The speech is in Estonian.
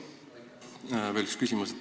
Mul on veel üks küsimus.